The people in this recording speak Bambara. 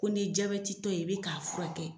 Ko n'i ye tɔ ye i bɛ k'a furakɛ